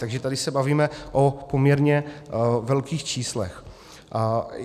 Takže tady se bavíme o poměrně velkých číslech.